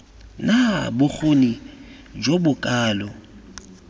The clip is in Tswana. na bokgoni jo bo kalo